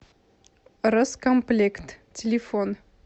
роскомплект телефон